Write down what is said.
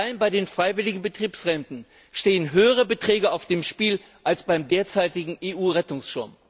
Allein bei den freiwilligen Betriebsrenten stehen höhere Beträge auf dem Spiel als bei dem derzeitigen EU Rettungsschirm.